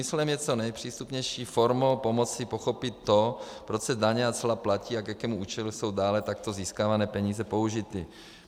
Smyslem je co nejpřístupnější formou pomoci pochopit to, proč se daně a cla platí a k jakému účelu jsou dále takto získávané peníze použity.